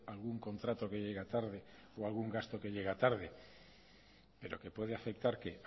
algún contrato que llega tarde o algún gasto que llega tarde pero que puede afectar qué